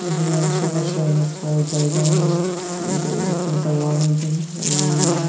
এখানে আশেপাশে অনেক বড় জায়গা রয়েছে। এইটা এরোপ্লেনে -টা ওড়ানোর জন্য এবং--